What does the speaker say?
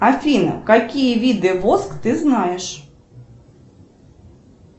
афина какие виды воск ты знаешь